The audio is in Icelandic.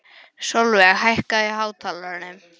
Sólveig, hækkaðu í hátalaranum.